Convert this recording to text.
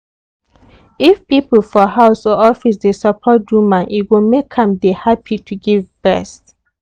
if people for house or office dey support woman e go make am dey happy to give breast.